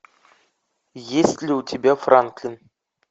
есть ли у тебя франклин